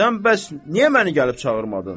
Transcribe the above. Sən bəs niyə məni gəlib çağırmadın?